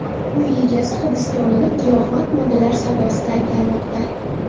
Uy egasi hibsga olinib, giyohvand moddalar savdosida ayblanmoqda.